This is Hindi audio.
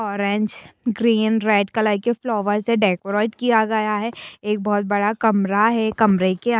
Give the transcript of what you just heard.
ओरेंज ग्रीन रेड कलर के फ्लावर से डेकोरेट किया गया है एक बहुत बड़ा कमरा है कमरे के अन --